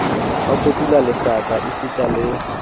ba kotula lehlaka esitana le